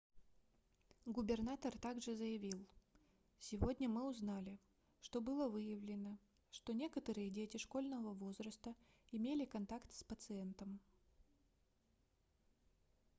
губернатор так же заявил сегодня мы узнали что было выявлено что некоторые дети школьного возраста имели контакт с пациентом